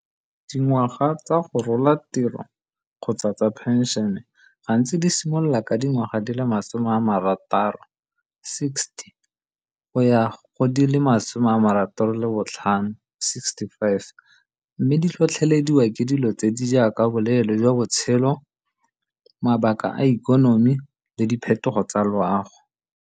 Dingwaga tsa go rola tiro kgotsa tsa phenšene gantsi di simolola ka dingwaga di le masome a marataro, sixty, go ya go di le masome a marataro le botlhano, sixty-five, mme di tlhotlhelediwa ke dilo tse di jaaka boleele jwa botshelo, mabaka a ikonomi le diphetogo tsa loago.